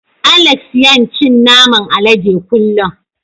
Alex yan cin naman alade kullun.